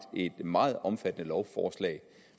et meget omfattende lovforslag